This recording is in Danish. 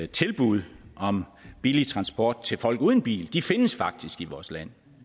tilbud om billig transport til folk uden bil de findes faktisk i vores land